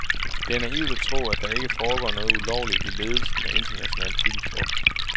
Det er naivt at tro, at der ikke foregår noget ulovligt i ledelsen af international cykelsport.